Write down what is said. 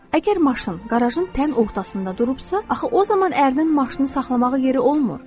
Əgər maşın qarajın tən ortasında durubsa, axı o zaman ərin maşını saxlamağa yeri olmur.